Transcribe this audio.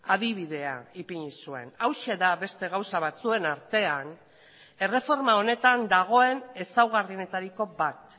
adibidea ipini zuen hauxe da beste gauza batzuen artean erreforma honetan dagoen ezaugarrienetariko bat